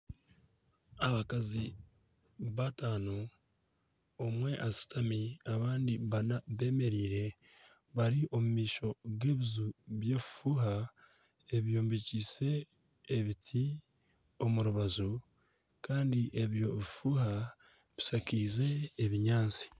Abakazi bataano omwe ashutami, abandi banana bemereire bari omu maisho g'ebiju bw'ebifuuha ebyombekiise ebiti omu rubaju kandi eby'obufuha bushakize ebinyaatsi.